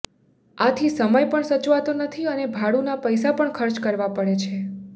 આથી સમય પણ સચવાતો નથી અને ભાડુંના પૈસા પણ ખર્ચ કરવા પડે છે